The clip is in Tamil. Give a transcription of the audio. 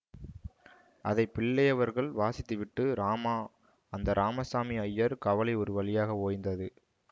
அதை பிள்ளையவர்கள் வாசித்துவிட்டு ராமா அந்த ராமசாமி அய்யர் கவலை ஒரு வழியாக ஓய்ந்தது